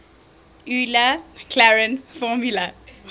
euler maclaurin formula